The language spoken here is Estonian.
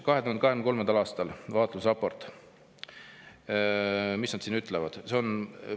2023. aasta vaatlusraport, mis nad siin ütlevad?